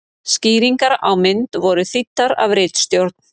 Skýringar á mynd voru þýddar af ritstjórn.